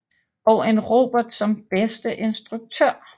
Og en Robert som bedste instruktør